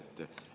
Teie aeg!